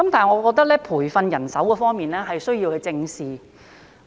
然而，在培訓人手方面，我覺得需要正視。